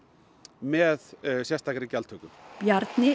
með sérstakri gjaldtöku Bjarni